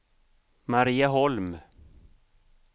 Marieholm